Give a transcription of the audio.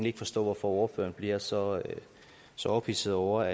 ikke forstå hvorfor ordføreren bliver så så ophidset over